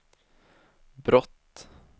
brott